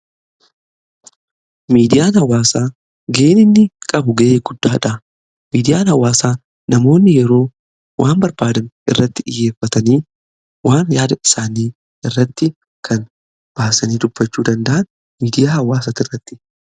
Miidiyaan hawwaasaa ga'een inni qabu ga'ee guddaadha. Miidiyaan hawaasaa namoonni yeroo waan barbaadan irratti dhiyyeeffatanii waan yaada isaanii irratti kan baasanii dubbachuu danda'an miidiyaa hawaasa irratti.